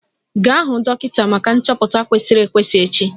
Gaa hụ dọkịta maka nchọpụta kwesịrị ekwesị echi!